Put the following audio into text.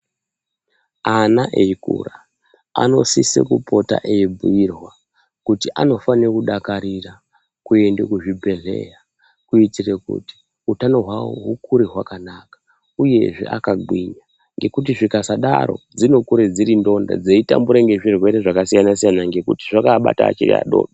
Ana achikura anosiswa achibhuirwa kuti anofanirwa kuenda kuchibhedhlera. Kuitira kuti hutano hwavo hukure hwakanaka uye hwakanginya